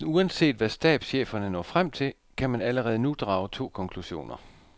Næsten uanset hvad stabscheferne når frem til, kan man allerede nu drage to konklusioner.